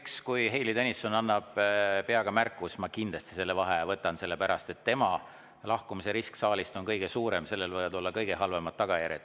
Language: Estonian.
Eks siis, kui Heili Tõnisson annab peaga märku, ma kindlasti selle vaheaja võtan, sellepärast et tema saalist lahkumise risk on kõige suurem, sellel võivad olla kõige halvemad tagajärjed.